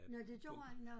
Nåh det gjorde i nåh